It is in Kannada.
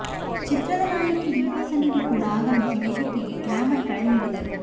ಚಿತ್ರದ ನಾಯಕಿ ದೀಪಾ ಸನ್ನಿಧಿ ಕೂಡ ಆಗಮಿಸಿ ವೇದಿಕೆಗೆ ಗ್ಲಾಮರ್ ಕಳೆ ನೀಡಿದರು